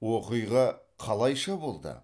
оқиға қалайша болды